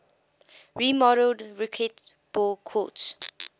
remodeled racquetball courts